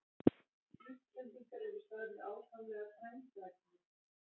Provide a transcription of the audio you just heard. Íslendingar eru sagðir ákaflega frændræknir.